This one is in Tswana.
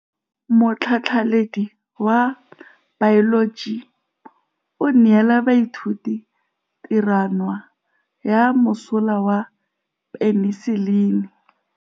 Motlhatlhaledi wa baeloji o neela baithuti tirwana ya mosola wa peniselene.